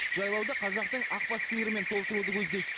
жайлауды қазақтың ақбас сиырымен толтыруды көздейді